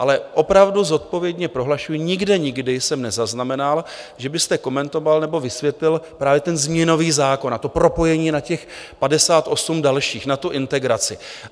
Ale opravdu zodpovědně prohlašuji, nikde nikdy jsem nezaznamenal, že byste komentoval nebo vysvětloval právě ten změnový zákon a to propojení na těch 58 dalších, na tu integraci.